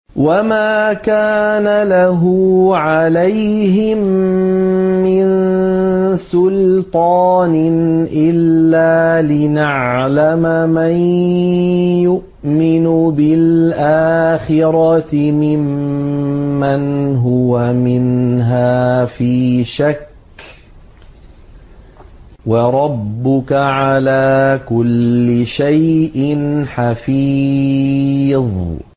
وَمَا كَانَ لَهُ عَلَيْهِم مِّن سُلْطَانٍ إِلَّا لِنَعْلَمَ مَن يُؤْمِنُ بِالْآخِرَةِ مِمَّنْ هُوَ مِنْهَا فِي شَكٍّ ۗ وَرَبُّكَ عَلَىٰ كُلِّ شَيْءٍ حَفِيظٌ